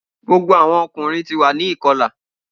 Gbogbo awọn ọkunrin ti wa ni ikọla